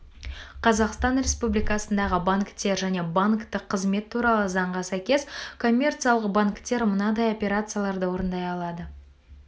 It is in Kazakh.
қазақстан республикасындағы банктер және банктік қызмет туралы заңға сәйкес коммерциялық банктер мынадай операцияларды орындай алады